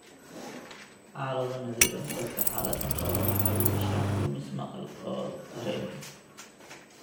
Xaalado naadir ah, dadka xaaladdan qaba waxay yeeshaan lumis maqal oo dareen ah.